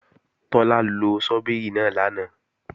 Tọ́lá lo ṣọ́bìrì náà lánàá